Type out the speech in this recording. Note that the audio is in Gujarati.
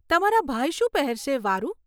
તમારા ભાઈ શું પહેરશે, વારુ?